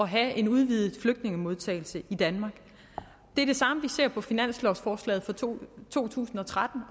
have en udvidet flygtningemodtagelse i danmark det er det samme vi ser på finanslovforslaget for to to tusind og tretten og